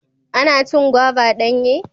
Ana cin gwaiva danye.